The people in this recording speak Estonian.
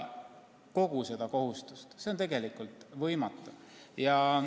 See on tegelikult võimatu.